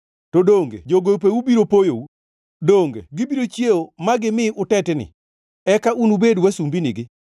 To donge jogopeu biro poyou? Donge gibiro chiewo ma gimi utetni? Eka unubed wasumbinigi.